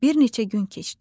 Bir neçə gün keçdi.